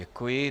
Děkuji.